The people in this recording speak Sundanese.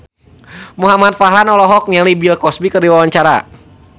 Muhamad Farhan olohok ningali Bill Cosby keur diwawancara